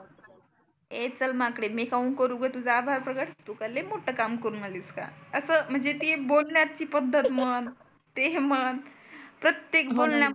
ए चल माकडे मी काहुन करु गं तुझं आभार प्रकट तु काय लइ मोठ काम करुण आलीस का? असं म्हणजे की बोलण्याची पद्धत मग. ते म्हण, प्रत्येक बोलण्यात